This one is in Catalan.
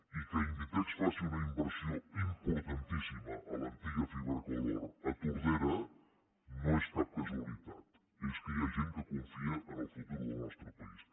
i que inditex faci una inversió importantíssima a l’antiga fibracolor a tordera no és cap casualitat és que hi ha gent que confia en el futur del nostre país